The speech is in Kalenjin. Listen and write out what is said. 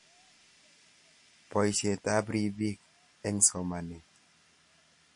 Boishet ab robinik eng somanet.